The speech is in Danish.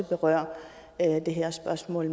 berører det her spørgsmål